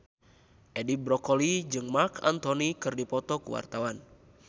Edi Brokoli jeung Marc Anthony keur dipoto ku wartawan